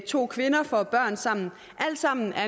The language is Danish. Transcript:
to kvinder får børn sammen alt sammen er